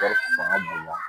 Wari fanga b'u la